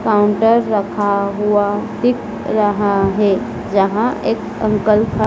counter रखा हुआ दिख रहा है जहां एक अंकल का--